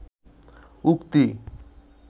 উক্তি